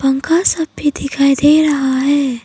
पंखा सब भी दिखाई दे रहा है।